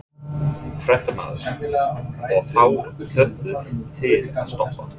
Fréttamaður: Og þá þurftuð þið að stoppa?